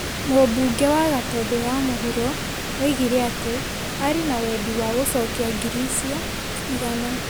Mũmbuge wa Gatũndũ ya mũhuro oigire atĩ arĩ na wendi wa gũcokia ngiri icio igana.